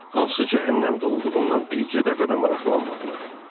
Hansı cəhənnəmdə olduğumla birgə dəfə də maraqlanmadılar.